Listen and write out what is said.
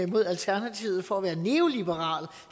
mod alternativet for at være neoliberal